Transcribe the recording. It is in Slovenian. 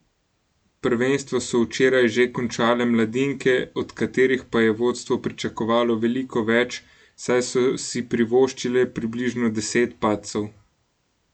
Prvenstvo so včeraj že končale mladinke, od katerih pa je vodstvo pričakovalo veliko več, saj so si privoščile približno deset padcev.